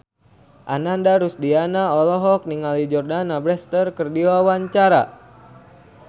Ananda Rusdiana olohok ningali Jordana Brewster keur diwawancara